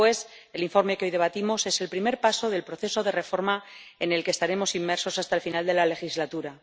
Así pues, el informe que hoy debatimos es el primer paso del proceso de reforma en el que estaremos inmersos hasta el final de la legislatura.